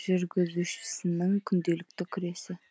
жүргізушісінің күнделікті күресі